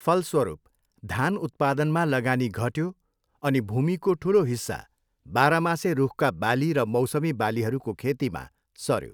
फलस्वरूप, धान उत्पादनमा लगानी घट्यो अनि भूमिको ठुलो हिस्सा बाह्रमासे रूखका बाली र मौसमी बालीहरूको खेतीमा सऱ्यो।